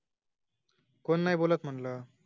कोन नाही बोलत ग